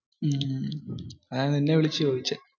അതാ നിന്നെ വിളിച്ച ചോയ്ച്ച.